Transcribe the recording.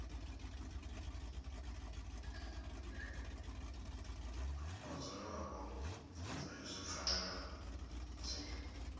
vhadzulapo sa izwi pfanelo dzi